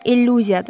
İllüziyadır.